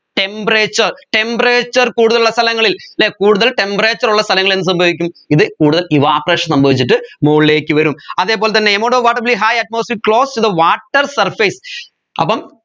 temperaturetemperature കൂടുതലുള്ള സ്ഥലങ്ങളിൽ അല്ലെ കൂടുതൽ temperature ഉള്ള സ്ഥലങ്ങളിൽ എന്ത് സംഭവിക്കും ഇത് കൂടുതൽ evaporation സംഭവിച്ചിട്ട് മോളിലേക്ക് വരും അതെ പോലെ തന്നെ amount of water be high atmospheric close to the water surface അപ്പം